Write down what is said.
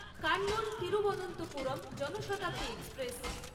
Kannur Thiruvananthapuram Jan Shatabdi express